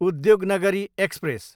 Udyognagri express